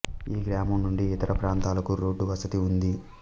ఈ గ్రామం నుండి ఇతర ప్రాంతాలకు రోడ్డు వసతి ఉంది